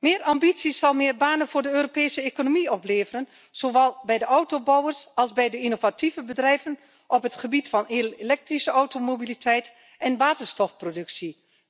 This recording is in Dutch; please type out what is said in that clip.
Meer ambitie zal meer banen voor de Europese economie opleveren, zowel bij de autobouwers als bij de innovatieve bedrijven op het gebied van elektrische automobiliteit en waterstofproductie.